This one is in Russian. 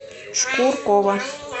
шкуркова